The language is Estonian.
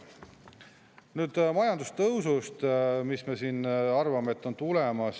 Nüüd majandustõusust, mille kohta me siin arvame, et on tulemas.